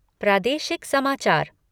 प्रादेशिक समाचार